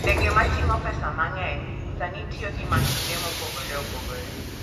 Ndege ma ting'o pesa mang'eny sani tiyo gi masinde mopogore opogore.